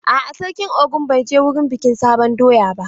A'a, sarkin Ogun bai je wurin bikin sabon doya ba.